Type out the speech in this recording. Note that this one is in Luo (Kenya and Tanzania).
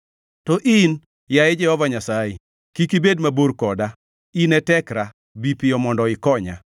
To in, yaye Jehova Nyasaye, kik ibed mabor koda. In e tekra, bi piyo mondo ikonya.